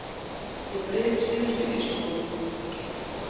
Ég bryð síðustu ísmolana.